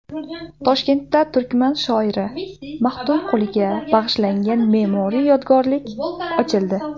Toshkentda turkman shoiri Maxtumquliga bag‘ishlangan me’moriy yodgorlik ochildi.